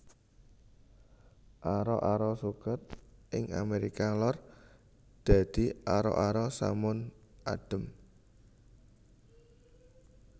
Ara ara suket ing Amérika Lor dadi ara ara samun adhem